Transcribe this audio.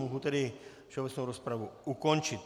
Mohu tedy všeobecnou rozpravu ukončit.